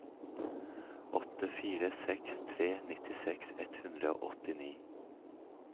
åtte fire seks tre nittiseks ett hundre og åttini